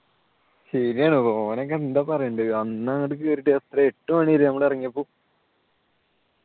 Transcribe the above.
ശരിയാണ് ഓനെയൊക്കെ എന്താണ് പറയേണ്ടത് അന്ന് അങ്ങോട്ട് കേറീട്ട് രാത്രി എട്ടുമണി ആയില്ലേ നമ്മൾ ഇറങ്ങിയപ്പോ